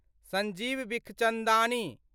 Sanjeev Bikhchandani